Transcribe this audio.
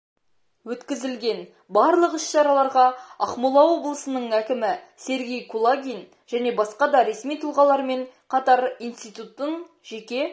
өткізілген барлық іс-шараларға ақмола облысының әкімі сергей кулагин және басқа да ресми тұлғалармен қатар институттың жеке